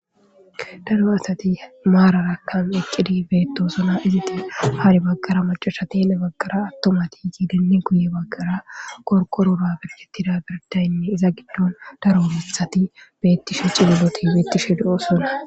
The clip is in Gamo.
daro asati maararakkan eqqidi beettosuna izati hari bagqara macasha tele baggara attomati yeedenne guye baggara korqorora birgettida birdayne iza giddon daro bethati beettishe cilloti beettishe do7o sona